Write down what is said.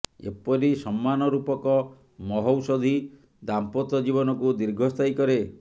ଏପରି ସମ୍ମାନ ରୂପକ ମହୌଷଧୀ ଦାମ୍ପତ୍ୟ ଜୀବନକୁ ଦୀର୍ଘସ୍ଥାୟୀ କରେ